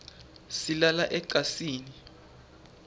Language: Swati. silala ecansini